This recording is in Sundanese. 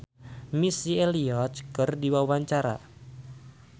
Chrisye olohok ningali Missy Elliott keur diwawancara